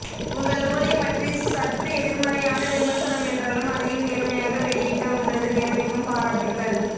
உங்கள் நூலைப் பற்றி சற்று எதிர்மறையான விமர்சனம் என்றாலும் அதையும் நேர்மையாக வெளி இட்ட உங்களது நேர்மைக்கும் பாராட்டுகள்